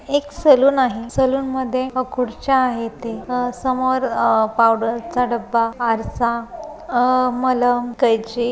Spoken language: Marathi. एक सलून आहे. सेलूनमध्ये अह खुर्च्या आहेत. ते अह समोर अह पाऊडर च डब्बा आरसा अह मलम कैची --